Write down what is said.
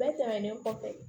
Bɛɛ tɛmɛnen kɔfɛ